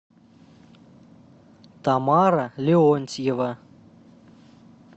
тамара леонтьева